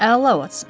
Əla olsun.